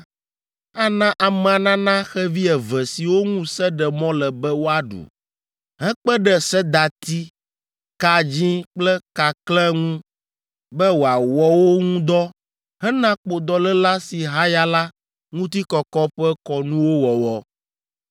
ana amea nana xevi eve siwo ŋu se ɖe mɔ le be woaɖu, hekpe ɖe sedati, ka dzĩ kple kakle ŋu be wòawɔ wo ŋu dɔ hena kpodɔléla si haya la ŋutikɔkɔ ƒe kɔnuwo wɔwɔ.